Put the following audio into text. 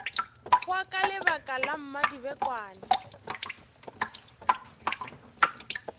hwa ka lebaka la mmadibekwane